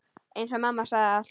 Eins og mamma sagði alltaf.